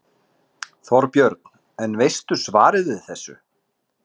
Þorbjörn: En veistu svarið við þessu?